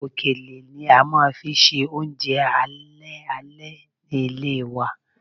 Òkèlè ni a máa fi ń ṣe oúnjẹ alẹ́ alẹ́ ni ilé wa